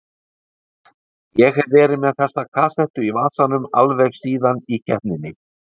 Ég hef verið með þessa kassettu í vasanum alveg síðan í keppninni